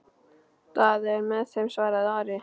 Daði er með þeim, svaraði Ari.